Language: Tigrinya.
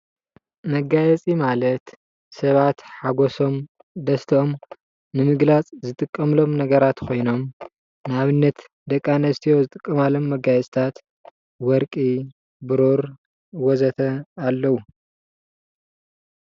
መጋየፂ ማለት ሳባት ሓጎሶም ደስተኦም ንምግላፅ ዝጥቀምሎም ነገራት ኮይኖም ንኣብነት ደቂ ኣንስትዮ ዝጥቀማሎም መጋየፂታት ወርቂ ፣ቡሩር ወዘተ ኣለዉ፡፡